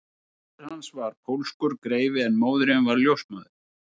Faðir hans var pólskur greifi en móðirin var ljósmóðir